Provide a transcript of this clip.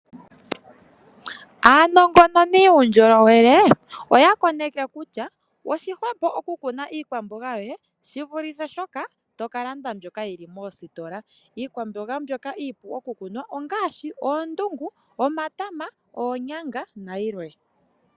Aanongononi yuundjolowele oyakoneke kutya oshihwepo okukuna iikwamboga yoye shivulithe shoka tokalanda mbyoka yili moositola. Iikwamboga mbyoka iipu okukunwa ongaashi oondungu, omatama, oonyanga nayilwe.